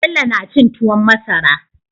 Bello na cin tuwon masara